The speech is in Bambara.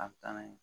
A bɛ taa n'a ye